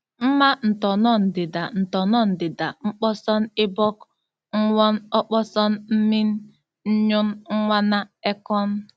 Mma ntọn̄ọ ndida ntọn̄ọ ndida n̄kpọsọn̄ ibọk, n̄n̄wọn̄ ọkpọsọn̄ mmịn, nnyụn̄ n̄n̄wana ekọn̄.